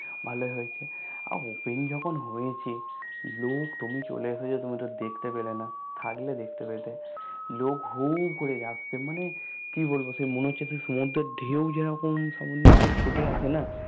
ভালোই হয়েছে আর Open যখন হয়েছে লোক তুমি চলে এসেছো তুমি তো দেখতে পেলে না থাকলে দেখতে পেতে লোক হুর করে আসছে মানে কি বলবো সেই মনে হচ্ছে সমুদ্রের ঢেউ যেরকম সামনে দিকে ছুঁটে আসেনা